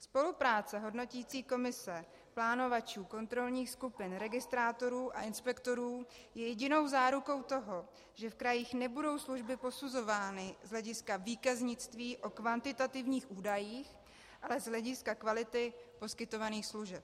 Spolupráce hodnoticí komise, plánovačů, kontrolních skupin, registrátorů a inspektorů je jedinou zárukou toho, že v krajích nebudou služby posuzovány z hlediska výkaznictví o kvantitativních údajích, ale z hlediska kvality poskytovaných služeb.